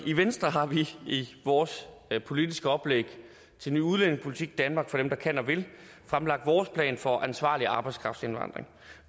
i venstre har vi i vores politiske oplæg til ny udlændingepolitik danmark for dem der kan og vil fremlagt vores plan for ansvarlig arbejdskraftindvandring